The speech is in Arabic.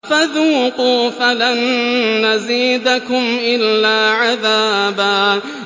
فَذُوقُوا فَلَن نَّزِيدَكُمْ إِلَّا عَذَابًا